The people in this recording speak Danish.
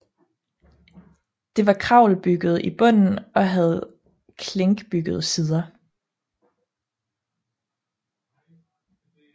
Det var kravelbygget i bunden og havde klinkbyggede sider